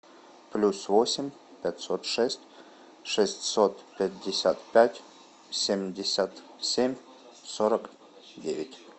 плюс восемь пятьсот шесть шестьсот пятьдесят пять семьдесят семь сорок девять